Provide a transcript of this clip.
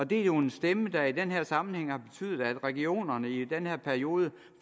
det er jo en stemme der i den her sammenhæng har betydet at regionerne i den her periode